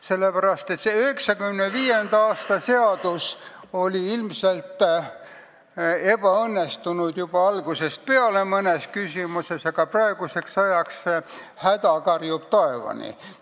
See 1995. aasta seadus oli ilmselt juba algusest peale mõnes küsimuses ebaõnnestunud, aga praeguseks ajaks karjub häda taevani.